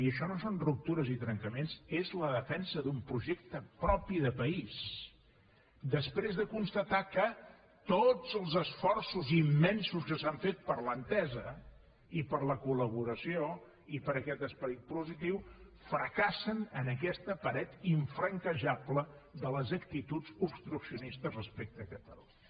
i això no són ruptures i trencaments és la defensa d’un projecte propi de país després de constatar que tots els esforços immensos que s’han fet per l’entesa i per la col·laboració i per aquest esperit positiu fracassen en aquesta paret infranquejable de les actituds obstruccionistes respecte a catalunya